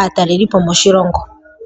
aatalelipo moshilongo.